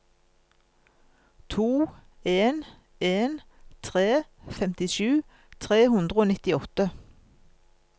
to en en tre femtisju tre hundre og nittiåtte